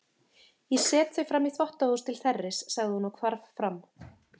Ég set þau framí þvottahús til þerris, sagði hún og hvarf fram.